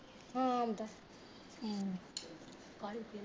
ਹਾਂ ਆਉਂਦਾ ਹਮ